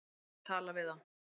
Hann ætti að tala við þá.